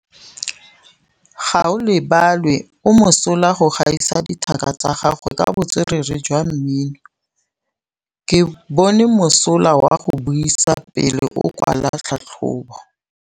Gaolebalwe o mosola go gaisa dithaka tsa gagwe ka botswerere jwa mmino. Ke bone mosola wa go buisa pele o kwala tlhatlhobô.